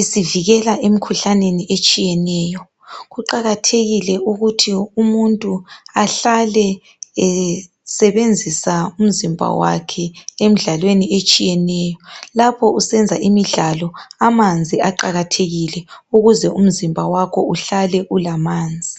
isivikela emikhuhlaneni etshiyeneyo kuqakathekile ukuthi umuntu ahlale esebenzisa umzimba wakhe emdlalweni etshiyeneyo lapho usenza imidlalo amanzi aqakathekile ukuze umzimba wakho uhlale ulamanzi